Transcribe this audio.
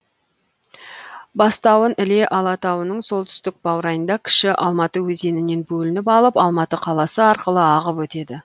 бастауын іле алатауының солтүстік баурайында кіші алматы өзенінен бөлініп алып алматы қаласы арқылы ағып өтеді